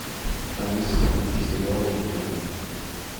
алиса включи сериал викинги